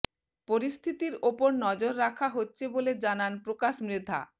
পরিস্থিতি ওপর নজর রাখা হচ্ছে বলে জানান প্রকাশ মৃধা